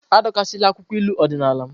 Adọkasịla akwụkwọ uri odinala m!